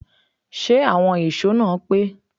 Ṣé àwọn ìṣó náà pé?